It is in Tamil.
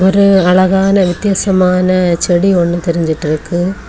ஒரு அழகான வித்தியாசமான செடி ஒன்னு தெரிஞ்சிட்டுருக்கு.